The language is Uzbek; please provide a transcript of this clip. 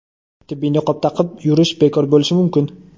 tibbiy niqob taqib yurish bekor bo‘lishi mumkin.